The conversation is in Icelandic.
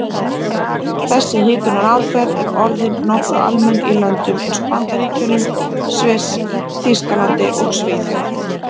Þessi hitunaraðferð er orðin nokkuð almenn í löndum eins og Bandaríkjunum, Sviss, Þýskalandi og Svíþjóð.